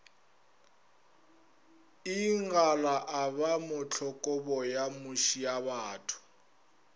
ingala a ba mohlokaboyo mošiabatho